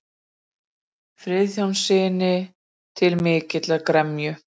Friðjónssyni, til mikillar gremju.